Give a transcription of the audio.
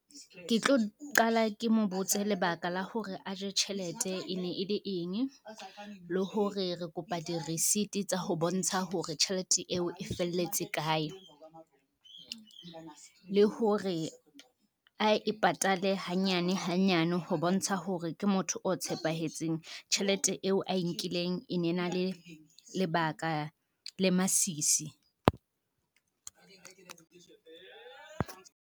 Ke tlo qala ke mo botse lebaka la hore a je tjhelete e ne e le enye, le hore re kopa di-receipt tsa ho bontsha hore tjhelete eo e felletse kae. Le hore a e patale hanyane hanyane ho bontsha hore ke motho o tshepahetseng, tjhelete eo a e nkileng e ne na le lebaka le masisi.